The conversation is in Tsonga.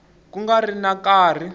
ku nga ri na nkarhi